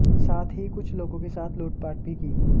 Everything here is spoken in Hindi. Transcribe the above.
साथ ही कुछ लोगों के साथ लूटपाट भी की